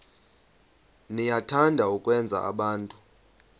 niyathanda ukwenza abantu